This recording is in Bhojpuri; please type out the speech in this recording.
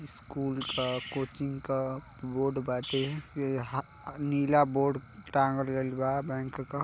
स्कूल का कोचिंग का बोर्ड बाटे इ हा नीला बोर्ड टाँगल गईल-बा बैंक का --